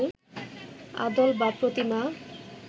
আদল বা প্রতিমা